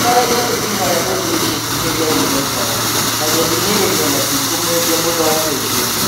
Nĩmaregete ihoya rĩu rĩa icaikuhĩ rĩa Unaitas na gũthing'ĩrĩria metikũmwendia mũthaki ũcio.